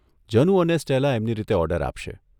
જનુ અને સ્ટેલા એમની રીતે ઓર્ડર આપશે.